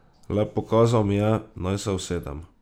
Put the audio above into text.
Le pokazal mi je, naj se usedem.